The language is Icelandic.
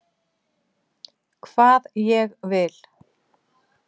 Hvað ég vil.